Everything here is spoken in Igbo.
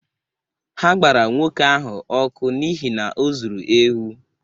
Ha gbara nwoke ahụ ọkụ n’ihi na o zuru ewu.